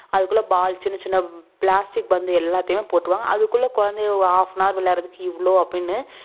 அதுக்குள்ள ball சின்ன சின்ன plastic பந்து எல்லாத்தையும் போட்டுருவாங்க அதுக்குள்ளகுழந்தை halfanhour விளையாடுறதுக்கு இவ்ளோ அப்புடின்னு